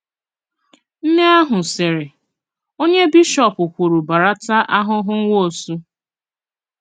Nnè àhụ sị̀rì: "Ónyé bishọp kwùrù bàràtà àhụhụ Nwosù.